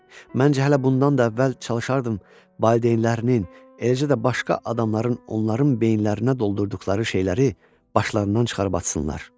Məncə, hələ bundan da əvvəl çalışardım valideynlərinin, eləcə də başqa adamların onların beyinlərinə doldurduqları şeyləri başlarından çıxarıb atsınlar.